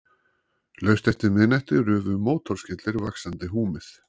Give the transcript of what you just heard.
Laust eftir miðnætti rufu mótorskellir vaxandi húmið.